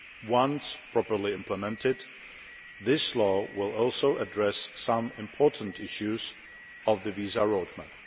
Once properly implemented, this law will also address some important issues of the visa roadmap.